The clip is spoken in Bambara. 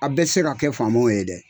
A bɛ tɛ se ka kɛ faamaw ye dɛ.